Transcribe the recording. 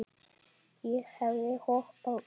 Ég hefði hoppað upp.